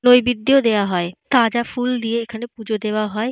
নৈবেদ্য দেওয়া হয়। তাজা ফুল দিয়ে এখানে পুজো দেওয়া হয়।